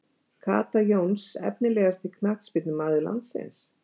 Kata Jóns Efnilegasti knattspyrnumaður landsins?